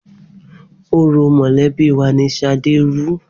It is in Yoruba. Orò mọ̀lẹ́bí wà ni Ṣadé rú.